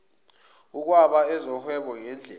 ukwaba ezohwebo ngedlela